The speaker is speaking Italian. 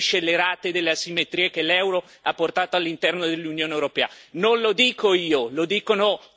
Non lo dico io lo dicono coloro che voi ritenete persone credibili e di buon senso.